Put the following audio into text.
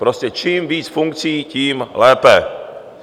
Prostě čím víc funkcí, tím lépe.